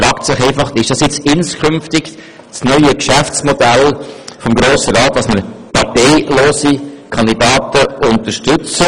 Man fragt sich, ob es inskünftig das neue Geschäftsmodell des Grossen Rats ist, parteilose Kandidaten zu unterstützen.